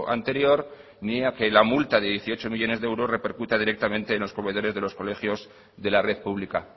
anterior ni a que la multa de dieciocho millónes de euros repercuta directamente en los comedores de los colegios de la red pública